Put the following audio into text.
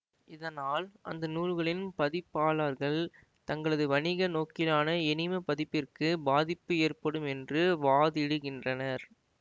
இதனால் அந்த நூல்களின் பதிப்பாளர்கள் தங்களது வணிக நோக்கிலான எணிம பதிப்பிற்கு பாதிப்பு ஏற்படும் என்று வாதிடுகின்றனர்